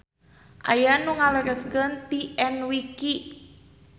Aya nu ngalereskeun ti enwiki.